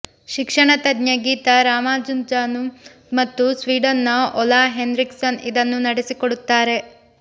ಶಿಕ್ಷಣತಜ್ಞೆ ಗೀತಾ ರಾಮಾನುಜಂ ಮತ್ತು ಸ್ವೀಡನ್ನ Ola Henriksson ಇದನ್ನು ನಡೆಸಿಕೊಡುತ್ತಾರೆ